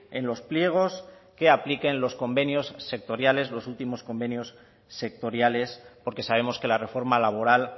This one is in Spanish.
en los pliegos que apliquen los convenios sectoriales los últimos convenios sectoriales porque sabemos que la reforma laboral